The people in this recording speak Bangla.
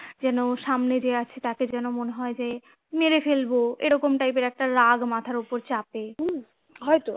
যেন সামনে যে আছে তাকে যেন মনে হয় যে মেরে ফেলবো এরকম type এর রাগ একটা মাথার ওপর চাপে হম হয়তো